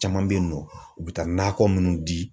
Caman bɛ yen nɔ u bɛ taa nakɔ minnu di.